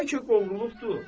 Bəlkə qovrulubdu.